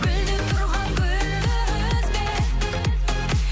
гүлдеп тұрған гүлді үзбе